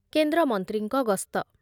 କେନ୍ଦ୍ରମନ୍ତ୍ରୀଙ୍କ ଗସ୍ତ